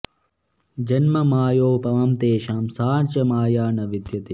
जन्म मायोपमं तेषां सा च माया न विद्यते